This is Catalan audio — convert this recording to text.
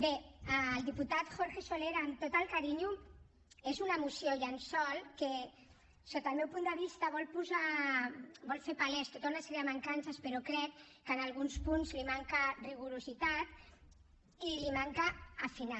bé al diputat jorge soler amb tot el carinyo és una moció llençol que sota el meu punt de vista vol fer paleses tota una sèrie de mancances però crec que en alguns punts li manca rigor i li manca afinar